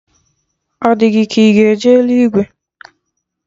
Ọ di gị ka ị ga-eje eluigwe?